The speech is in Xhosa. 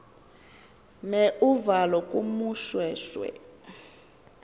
mer uvalo kumoshweshwe